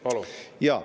Palun!